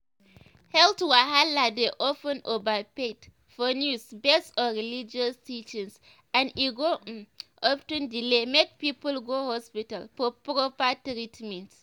health wahala dey of ten overhyped for news based on religious teachings and e go um of ten delay make people go hospital for proper treatment.